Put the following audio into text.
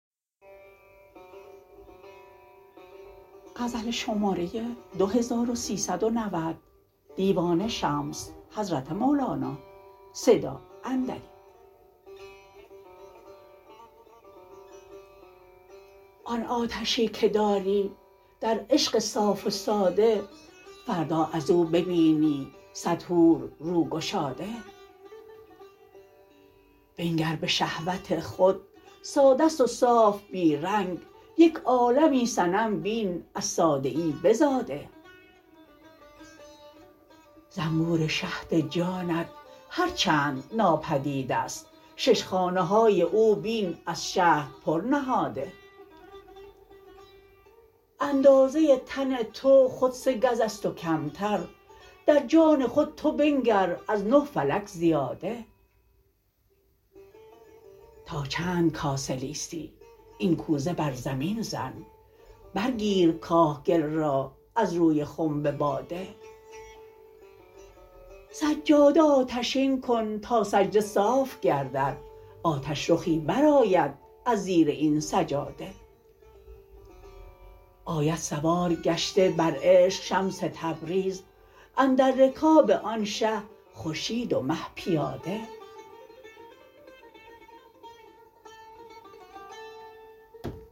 آن آتشی که داری در عشق صاف و ساده فردا از او ببینی صد حور رو گشاده بنگر به شهوت خود ساده ست و صاف بی رنگ یک عالمی صنم بین از ساده ای بزاده زنبور شهد جانت هر چند ناپدید است شش خانه های او بین از شهد پر نهاده اندازه تن تو خود سه گز است و کمتر در خان خود تو بنگر از نه فلک زیاده تا چند کاسه لیسی این کوزه بر زمین زن برگیر کاه گل را از روی خنب باده سجاده آتشین کن تا سجده صاف گردد آتش رخی برآید از زیر این سجاده آید سوارگشته بر عشق شمس تبریز اندر رکاب آن شه خورشید و مه پیاده